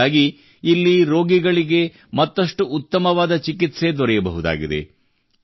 ಇದರಿಂದಾಗಿ ಇಲ್ಲಿ ರೋಗಿಗಳಿಗೆ ಮತ್ತಷ್ಟು ಉತ್ತಮವಾದ ಚಿಕಿತ್ಸೆ ದೊರೆಯಬಹುದಾಗಿದೆ